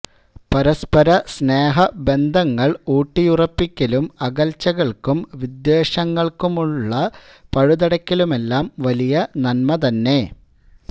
പരസപര സ്നേഹ ബന്ധങ്ങള് ഊട്ടിയുറപ്പിക്കലും അകല്ച്ചകള്ക്കും വിദ്വേഷങ്ങള്ക്കുമുള്ള പഴുതടക്കലുമെല്ലാം വലിയ നന്മ തന്നെ